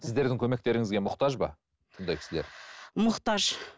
сіздердің көмектеріңізге мұқтаж ба бұндай кісілер мұқтаж